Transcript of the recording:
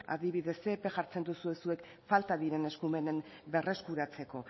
adibidez zer epe jartzen duzue zuek falta diren eskumenak berreskuratzeko